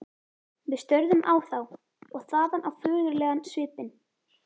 Við störðum á þá- og þaðan á föðurlegan svipinn.